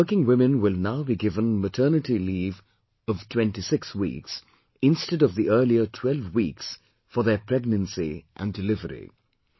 These working women will now be given maternity leave of 26 weeks, instead of the earlier 12 weeks, for their pregnancy and delivery